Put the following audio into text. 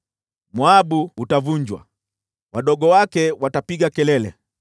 Moabu utavunjwa, wadogo wake watapiga kelele.